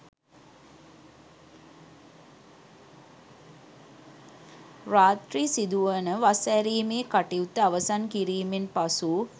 රාත්‍රී සිදුවන වස් ඇරීමේ කටයුත්ත අවසන් කිරීමෙන් පසු